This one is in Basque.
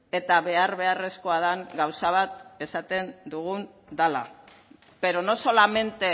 eta behar beharrezkoa dan gauza bat esaten dugu dala pero no solamente